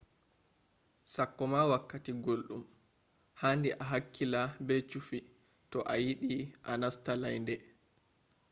sakkoma wakkati guldum handi a hakkila be chufi to a yidi a nasta laynde